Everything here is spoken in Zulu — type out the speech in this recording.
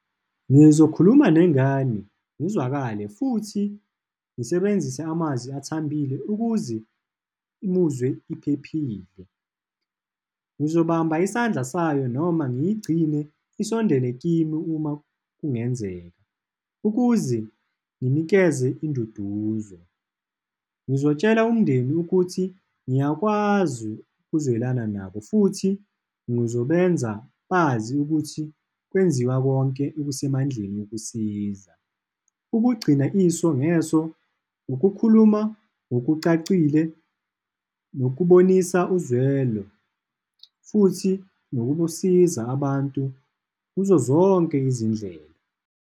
Ngizokhuluma nengane, ngizwakale, futhi ngisebenzise amazwi athambile ukuze umuzwe iphephile. Ngizobamba isandla sayo noma ngiyigcine isondele kimi, uma kungenzeka, ukuze nginikeze induduzo. Ngizotshela umndeni ukuthi ngiyakwazi ukuzwelana nabo, futhi ngizobeenza bazi ukuthi kwenziwa konke okusemandleni ukusiza. Ukugcina iso ngeso, ukukhuluma ngokucacile, nokubonisa uzwelo, futhi nokusiza abantu kuzo zonke izindlela.